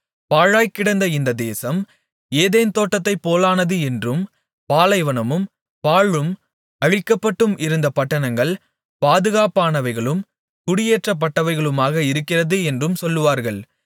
பாழாய்க்கிடந்த இந்த தேசம் ஏதேன் தோட்டத்தைப்போலானது என்றும் பாலைவனமும் பாழும் அழிக்கப்பட்டும் இருந்த பட்டணங்கள் பாதுகாப்பானவைகளும் குடியேற்றப்பட்டவைகளுமாக இருக்கிறது என்றும் சொல்லுவார்கள்